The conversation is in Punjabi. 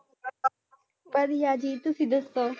ਵਧੀਆ ਜੀ ਤੁਸੀਂ ਦੱਸੋ।